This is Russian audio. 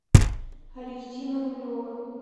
алевтина рулева